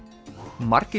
margir